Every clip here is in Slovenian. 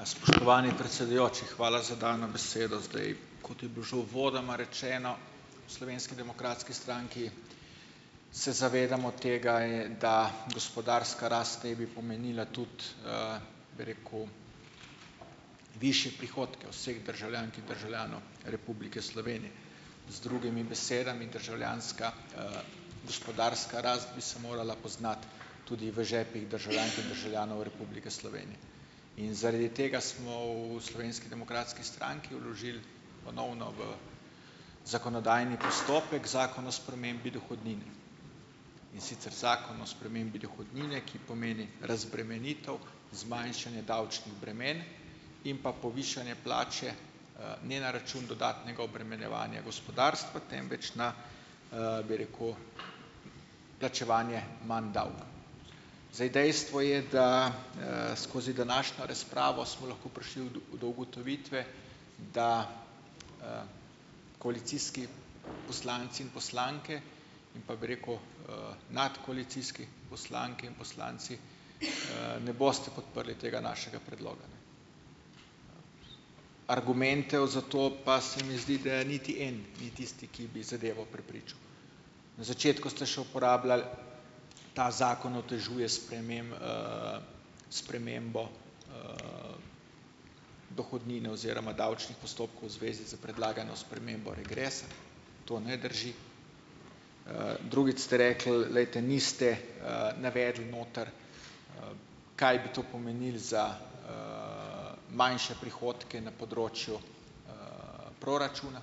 A spoštovani predsedujoči, hvala za dano besedo. Zdaj, kot je bilo že uvodoma rečeno, v Slovenski demokratski stranki se zavedamo tega, da gospodarska rast naj bi pomenila tudi, bi rekel, višje prihodke vseh državljank in državljanov Republike Slovenije. Z drugimi besedami, državljanska, gospodarska rast bi se morala poznati tudi v žepih državljank in državljanov Republike Slovenije in zaradi tega smo v Slovenski demokratski stranki vložili ponovno v zakonodajni postopek zakon o spremembi dohodnine. In sicer zakon o spremembi dohodnine, ki pomeni razbremenitev, zmanjšanje davčnih bremen in pa povišanje plače, ne na račun dodatnega obremenjevanja gospodarstva, temveč na bi rekel, plačevanje manj davka. Zdaj dejstvo je, da, skozi današnjo razpravo smo lahko prišli udo do ugotovitve, da koalicijski poslanci in poslanke in pa, bi rekel, nadkoalicijski poslanke in poslanci, ne boste podprli tega našega predloga, ne. Argumentov za to, pa se mi zdi, da niti en ni tisti, ki bi zadevo prepričal. Na začetku ste še uporabljali "ta zakon otežuje spremembo dohodnine oziroma davčnih postopkov v zvezi s predlagano spremembo regresa" - to ne drži. Drugič ste rekli: "Glejte, niste, navedli noter, kaj bi to pomenilo za, manjše prihodke na področju proračuna."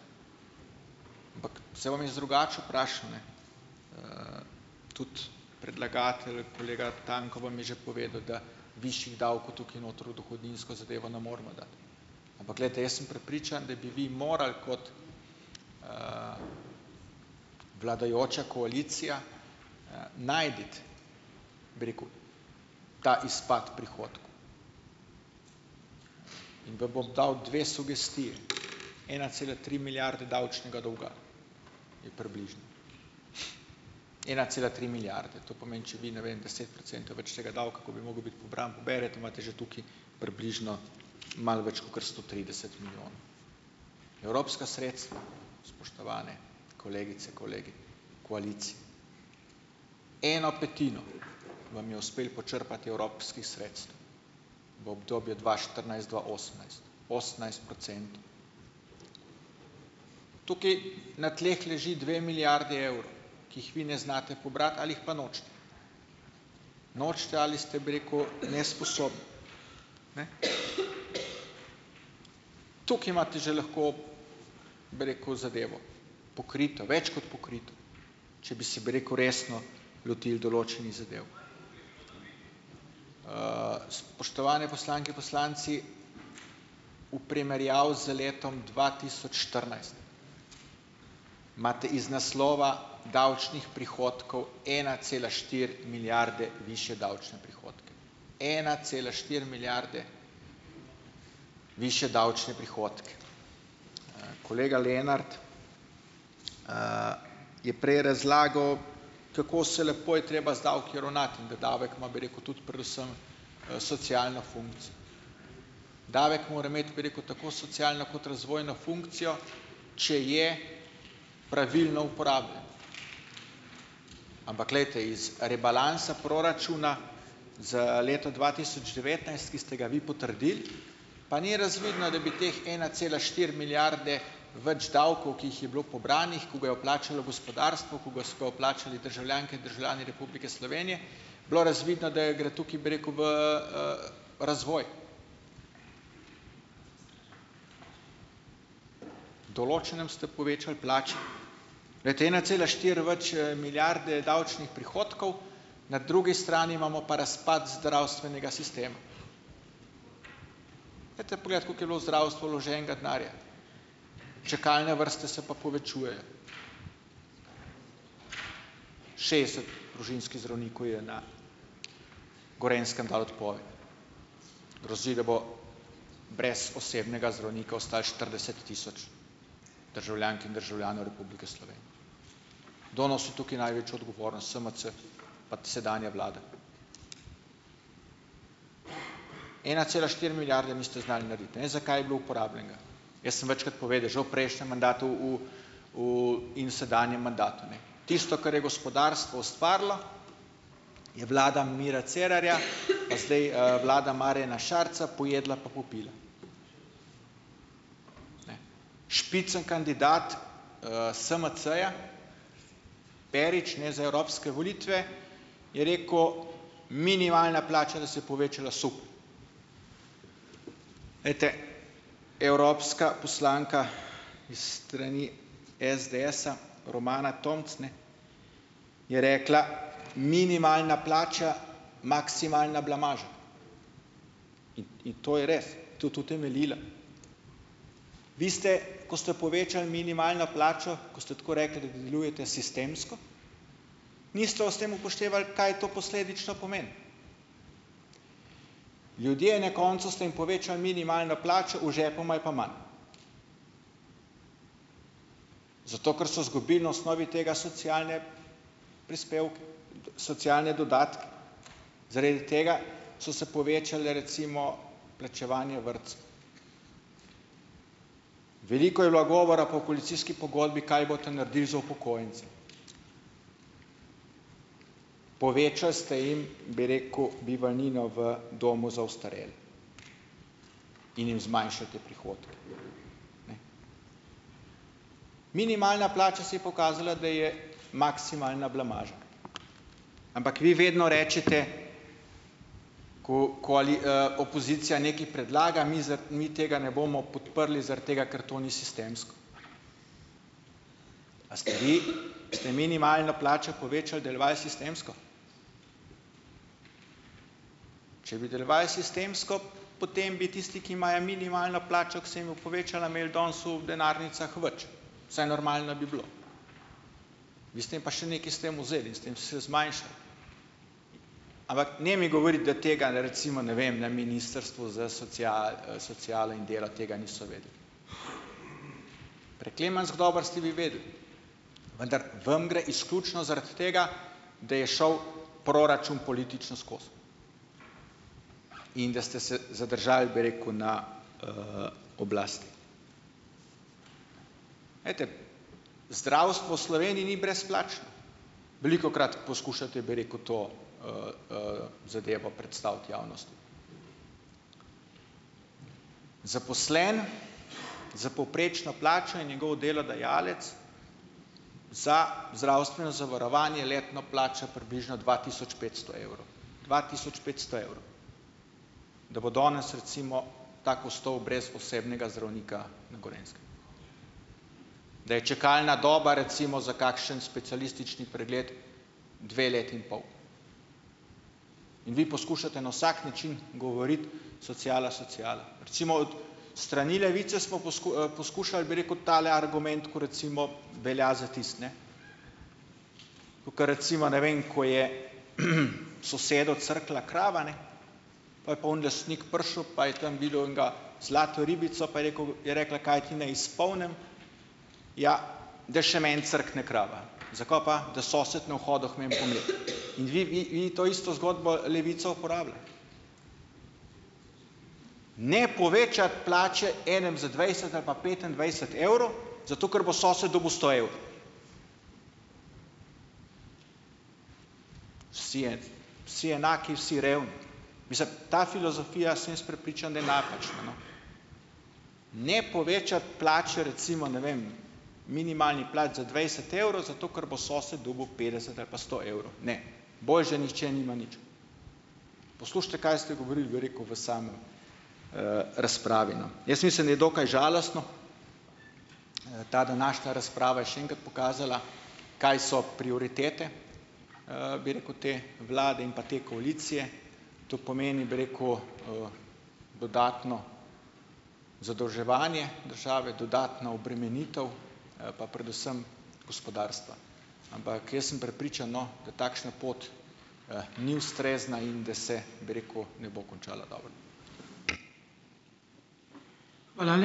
Saj bom jaz drugače vprašal, ne. Tudi predlagatelj, kolega Tanko, vam je že povedal, da višjih davkov tukaj noter v dohodninsko zadevo ne moramo dati, ampak glejte, jaz sem prepričan, da bi vi morali kot vladajoča koalicija, najti, bi rekel, ta izpas prihodkov in vam bom dal dve sugestiji - ena cela tri milijarde davčnega dolga je približno. ena cela tri milijarde - to pomeni, če vi ne vem deset procentov več tega davka, ko bi mogel biti pobran, poberete, imate že tukaj približno malo več kakor sto trideset milijonov. Evropska sredstva, spoštovane kolegice, kolegi koalicije. Eno petino vam je uspelo počrpati evropskih sredstev v obdobju dva štirinajst-dva osemnajst, osemnajst procentov. Tukaj na tleh leži dve milijardi evrov, ki jih vi ne znate pobrati ali jih pa nočete. Nočete ali ste, bi rekel, nesposobni. Tukaj imate že lahko, bi rekel, zadevo pokrito, več kot pokrito, če bi si, bi rekel, resno lotili določenih zadev. Spoštovane poslanke, poslanci, v primerjavi z letom dva tisoč štirinajst imate iz naslova davčnih prihodkov ena cela štiri milijarde višje davčne prihodke. Ena cela štiri milijarde višje davčne prihodke! Kolega Lenart je prej razlagal, kako se lepo je treba z davki ravnati in da davek ima, bi rekel, tudi predvsem, socialno funkcijo. Davek mora imeti, bi rekel, tako socialno kot razvojno funkcijo, če je pravilno uporabljan. Ampak, glejte, iz rebalansa proračuna za leto dva tisoč devetnajst, ki ste ga vi potrdili, pa ni razvidno, da bi teh ena cela štiri milijarde več davkov, ki jih je bilo pobranih, ki ga je vplačalo gospodarstvo, ki ga so ga vplačali državljanke in državljani Republike Slovenije, bilo razvidno, da je gre tukaj, bi rekel v, razvoj. Določenim ste povečali plače. Glejte, ena cela štiri več milijarde davčnih prihodkov, na drugi strani imamo pa razpad zdravstvenega sistema. Pojdite pogledat, koliko je bilo v zdravstvo vloženega denarja, čakalne vrste se pa povečujejo. Šestdeset družinskih zdravnikov je na Gorenjskem dalo odpoved; grozi, da bo brez osebnega zdravnika ostalo štirideset tisoč državljank in državljanov Republike Slovenije. Kdo nosi tukaj največjo odgovornost - SMC pats sedanja vlada. Ena cela štiri milijarde niste znali narediti, ne vem, za kaj je bilo uporabljenega. Jaz sem večkrat povedal, že v prejšnjem mandatu v, v in sedanjem mandatu, ne, tisto, kar je gospodarstvo ustvarilo, je vlada Mira Cerarja pa zdaj, vlada Marjana Šarca pojedla pa popila. Špica kandidat, SMC-ja Perič, ne, za evropske volitve je rekel, minimalna plača, da se je povečala. Super! Evropska poslanka iz strani SDS-a Romana Tomc, ne, je rekla, minimalna plača - maksimalna blamaža, in to je res tudi utemeljila. Vi ste, ko ste povečali minimalno plačo, ko ste tako rekli, da delujete sistemsko, niste ob tem upoštevali, kaj to posledično pomeni. Ljudje, na koncu ste jim povečali minimalno plačo, v žepu imajo pa manj, zato ker so izgubili na osnovi tega socialne prispevke, socialne dodatke. Zaradi tega so se povečale, recimo, plačevanje vrtcev. Veliko je bilo govora po koalicijski pogodbi, kaj boste naredili za upokojence. Povečali ste jim, bi rekel, bivalnino v domu za ostarele, in jim zmanjšate prihodke. Minimalna plača se je pokazala, da je maksimalna blamaža. Ampak vi vedno rečete, ko opozicija nekaj predlaga: "Mi mi tega ne bomo podprli zaradi tega, ker to ni sistemsko." A ste vi, ste minimalno plačo povečali, delovali sistemsko? Če bi delovali sistemsko, potem bi tisti, ki imajo minimalno plačo, ki se jim bo povečala, imeli danes v denarnicah več, vsaj normalno bi bilo. Vi ste jim pa še nekaj s tem vzeli in ste jim zmanjšali. Ampak ne mi govoriti, da tega ne, recimo ne vem, na ministrstvu za socialo in delo tega niso vedeli. Preklemansko dobro ste vi vedeli, vendar vam gre izključno zaradi tega, da je šel proračun politično skozi, in da ste se zadržali, bi rekel, na, oblasti. Zdravstvo Sloveniji ni brezplačno. Velikokrat poskušate, bi rekel, to, zadevo predstaviti javnosti. Zaposleni s povprečno plačo in njegov delodajalec za zdravstveno zavarovanje letno plača približno dva tisoč petsto evrov, dva tisoč petsto evrov da bo danes, recimo, tako ostal brez osebnega zdravnika na Gorenjskem. Da je čakalna doba, recimo, za kakšen specialistični pregled dve leti in pol. In vi poskušate na vsak način govoriti: "Sociala, sociala ...". Recimo od, s strani Levice smo poskušali, bi rekel, tale argument, kot recimo velja za tisto, ne. Kakor recimo, ne vem, ko je, sosedu crknila krava, ne, pol je pa oni lastnik prišel, pa je tam videl enega zlato ribico, pa je rekel, je rekla, kaj ti ni izpolnim? Ja, da še meni crkne krava. Zakaj pa? Da sosed ne bo hodil k meni po mleko. In vi, vi, vi to isto zgodbo, Levica uporablja. Ne povečati plače enim za dvajset ali pa petindvajset evrov, zato ker bo sosed dobil sto evrov. Vsi enaki, vsi revni. Mislim, ta filozofija, sem jaz prepričan, da je napačna, no . Ne povečati plač recimo, ne vem, minimalnih plač za dvajset evrov, zato ker bo sosed dobil petdeset ali pa sto evrov. Ne, boljše, da nihče nima nič. Poslušajte, kaj ste govorili, bi rekel, v sami, razpravi, no. Jaz mislim, da je dokaj žalostno. Ta današnja razprava je še enkrat pokazala, kaj so prioritete, bi rekel, te vlade in pa te koalicije. To pomeni, bi rekel, dodatno zadolževanje države, dodatna obremenitev, pa predvsem gospodarstva. Ampak, jaz sem prepričan, no, da takšna pot, ni ustrezna in da se, bi rekel, ne bo končala dobro.